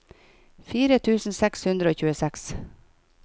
fire tusen seks hundre og tjueseks